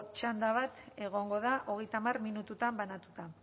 txanda bat egongo da hogeita hamar minututan banatuta